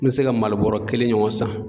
N mi se ka Mali bɔrɔ kelen ɲɔgɔn san.